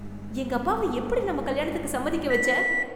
எங்க அப்பாவ எப்படி நம்ம கல்யாணத்துக்கு சம்மதிக்க வச்ச?